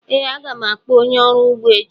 Ee, a ga m akpọ onye ọrụ ugbo echi.